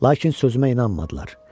Lakin sözümə inanmadılar.